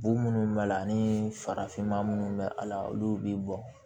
Bo minnu b'a la ani farafinma minnu bɛ a la olu bɛ bɔn